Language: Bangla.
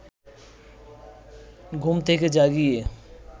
ঘুম থেকে জাগিয়ে